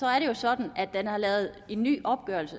er det jo sådan at man har lavet en ny opgørelse